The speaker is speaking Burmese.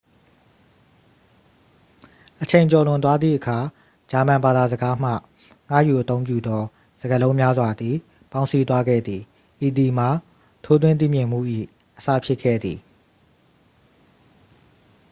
အချိန်ကျော်လွန်သွားသည့်အခါ ဂျာမန်ဘာသာစကားမှ ငှားယူအသုံးပြုသော စကားလုံးများစွာသည် ပေါင်းစည်းသွားခဲ့သည် ဤသည်မှာ ထိုးထွင်းသိမြင်မှု၏ အစဖြစ်ခဲ့သည်